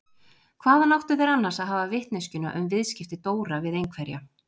Hvaðan áttu þeir annars að hafa vitneskjuna um viðskipti Dóra við einhverja?